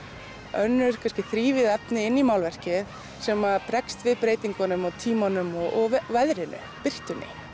önnur þrívíð efni inn í málverkið sem bregst við breytingunum og tímanum og veðrinu birtunni